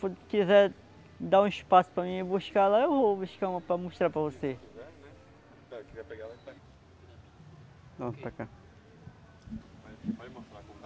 Quando quiser dar um espaço para mim ir buscar lá, eu vou buscar uma para mostrar para você. Se você quiser né,